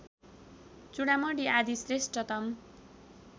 चूडामणि आदि श्रेष्ठतम